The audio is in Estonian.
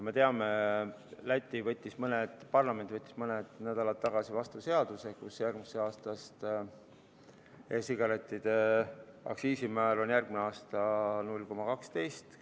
Me teame, et Läti parlament võttis mõned nädalad tagasi vastu seaduse, millega järgmisest aastast e-sigarettide aktsiisimäär on 0,12.